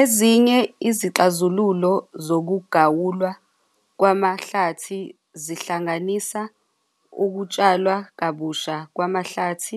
Ezinye izixazululo zokugawulwa kwamahlathi zihlanganisa ukutshalwa kabusha kwamahlathi,